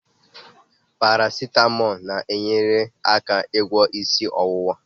Parasetamo na-enyere aka ịgwọ isi ọwụwa.